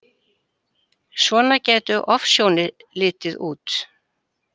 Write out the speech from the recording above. Svona gætu ofsjónir litið út.